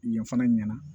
Yen fana ɲɛna